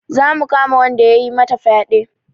Za mu kama wanda ya yi mata fyaɗe